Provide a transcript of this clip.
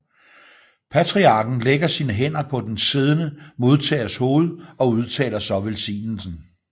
Patriarken lægger sine hænder på den siddende modtagers hoved og udtaler så velsignelsen